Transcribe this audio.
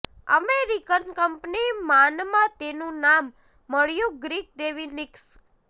American company માનમાં તેનું નામ મળ્યું ગ્રીક દેવી નિક્સ